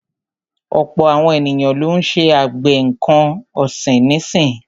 Ọ̀pọ̀ àwọn ènìyàn lọ́ ń ṣe àgbẹ̀ nǹkan ọ̀sìn nísì.